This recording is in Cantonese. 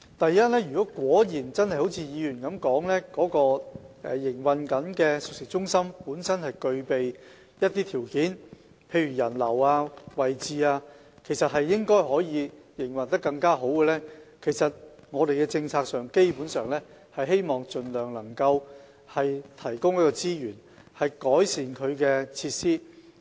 第一，如果真的正如議員所說，該熟食中心本身具備一些條件，例如人流和位置，應該可以營運得更好，我們的政策是希望盡量提供資源，以改善其設施。